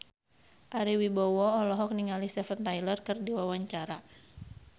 Ari Wibowo olohok ningali Steven Tyler keur diwawancara